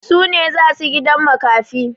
Su ne za su gidan makafi.